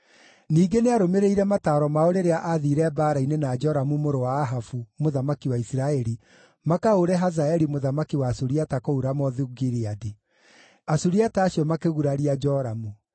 Ningĩ nĩarũmĩrĩire mataaro mao rĩrĩa aathiire mbaara-inĩ na Joramu mũrũ wa Ahabu mũthamaki wa Isiraeli makahũũre Hazaeli mũthamaki wa Suriata kũu Ramothu-Gileadi. Asuriata acio makĩguraria Joramu;